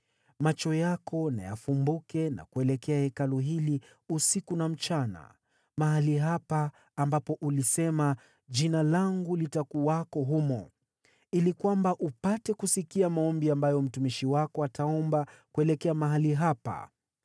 Macho yako na yafumbuke kuelekea Hekalu hili usiku na mchana, mahali hapa ambapo ulisema, ‘Jina langu litakuwako humo,’ ili kwamba upate kusikia maombi ambayo mtumishi wako ataomba kuelekea mahali hapa.